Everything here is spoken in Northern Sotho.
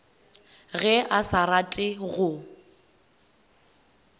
ge a sa rate go